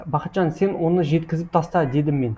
бақытжан сен оны жеткізіп таста дедім мен